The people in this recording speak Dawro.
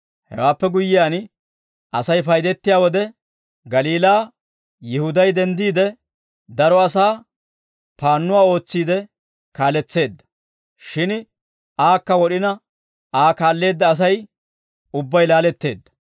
Hewaappe guyyiyaan, Asay paydettiyaa wode, Galiilaa Yihuday denddiide, daro asaa paannuwaa ootsiide kaaletseedda; shin aakka wod'ina, Aa kaalleedda Asay ubbay laaletteedda.